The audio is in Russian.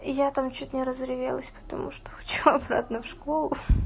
я там чуть не разревелась потому что хочу обратно в школу